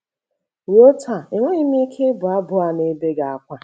Ruo taa, enweghị m ike ịbụ abụ a n'ebe gị ákwá.